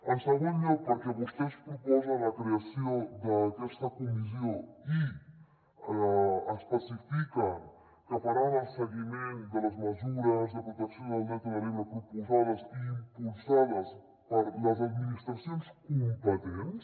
en segon lloc perquè vostès proposen la creació d’aquesta comissió i especifiquen que faran el seguiment de les mesures de protecció del delta de l’ebre proposades i impulsades per les administracions competents